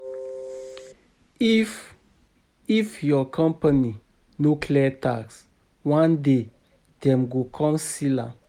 If, If your company no clear tax, one day dem go come seal am.